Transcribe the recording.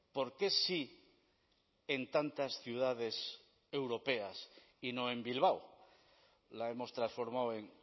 por qué sí en tantas ciudades europeas y no en bilbao la hemos transformado en